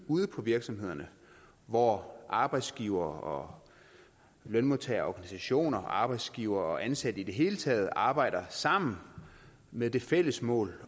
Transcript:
ude på virksomhederne hvor arbejdsgivere og lønmodtagerorganisationer arbejdsgivere og ansatte i det hele taget arbejder sammen med det fælles mål